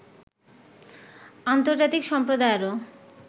আন্তর্জাতিক সম্প্রদায়েরও